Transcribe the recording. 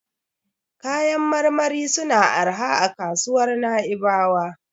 Kayan marmari suna da arha a kasuwar Na'ibawa.